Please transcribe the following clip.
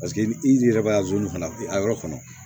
Paseke ni i yɛrɛ b'a fana i yɔrɔ kɔnɔ